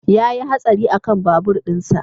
Ya yi hatsari akan babur ɗinsa